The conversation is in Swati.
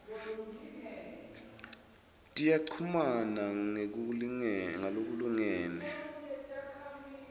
tiyachumana ngalokulingene tindze